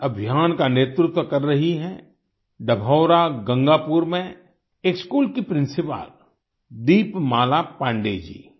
इस अभियान का नेतृत्व कर रही हैं डभौरा गंगापुर में एक स्कूल की प्रिंसिपल दीपमाला पांडेय जी